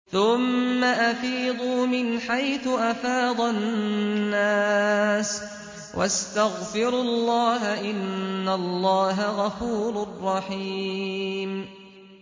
ثُمَّ أَفِيضُوا مِنْ حَيْثُ أَفَاضَ النَّاسُ وَاسْتَغْفِرُوا اللَّهَ ۚ إِنَّ اللَّهَ غَفُورٌ رَّحِيمٌ